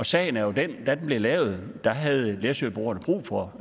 sagen er jo den at da linjen blev lavet havde læsøboerne brug for